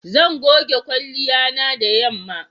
Zan goge kwalliya na da yanma.